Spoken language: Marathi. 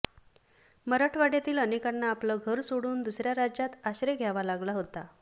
मराठवाड्यातील अनेकांना आपलं घर सोडून दुसऱ्या राज्यात आश्रय घ्यावा लागला होता